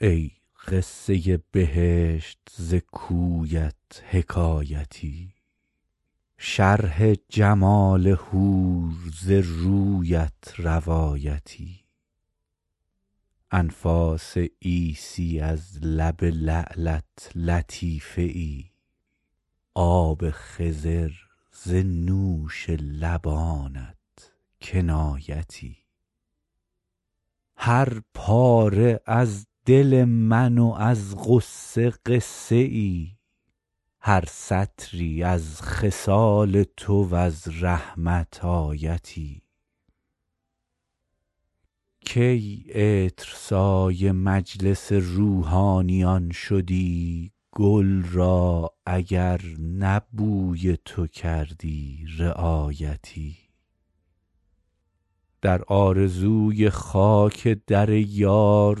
ای قصه بهشت ز کویت حکایتی شرح جمال حور ز رویت روایتی انفاس عیسی از لب لعلت لطیفه ای آب خضر ز نوش لبانت کنایتی هر پاره از دل من و از غصه قصه ای هر سطری از خصال تو و از رحمت آیتی کی عطرسای مجلس روحانیان شدی گل را اگر نه بوی تو کردی رعایتی در آرزوی خاک در یار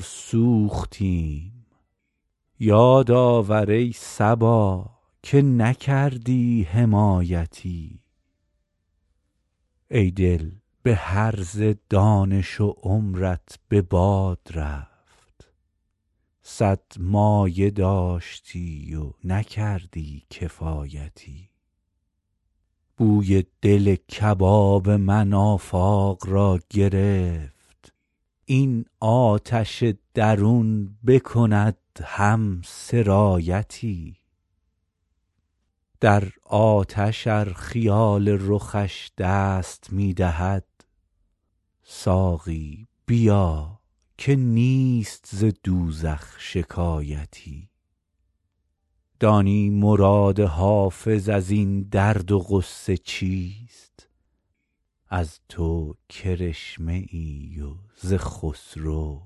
سوختیم یاد آور ای صبا که نکردی حمایتی ای دل به هرزه دانش و عمرت به باد رفت صد مایه داشتی و نکردی کفایتی بوی دل کباب من آفاق را گرفت این آتش درون بکند هم سرایتی در آتش ار خیال رخش دست می دهد ساقی بیا که نیست ز دوزخ شکایتی دانی مراد حافظ از این درد و غصه چیست از تو کرشمه ای و ز خسرو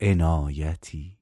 عنایتی